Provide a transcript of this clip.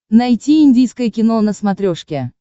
найти индийское кино на смотрешке